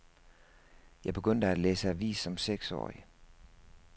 Jeg begyndte at læse avis som seksårig.